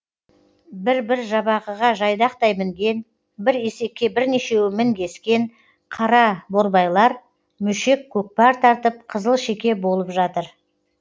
бір бір жабағыға жайдақтай мінген бір есекке бірнешеуі мінгескен қараборбайлар мөшек көкпар тартып қызылшеке болып жатыр